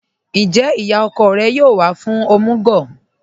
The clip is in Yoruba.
Ńjẹ́ iyá ọ̀kọ̀ rẹ̀ yóò wà fún omugwo?